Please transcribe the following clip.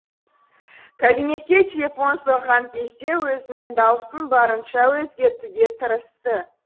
кабинетке телефон соққан кезде өзінің даусын барынша өзгертуге тырысты